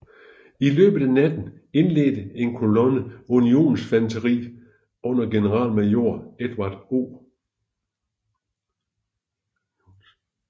I løbet af natten indledte en kolonne unionsinfanteri under generalmajor Edward O